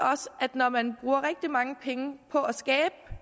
når man bruger rigtig mange penge på at skabe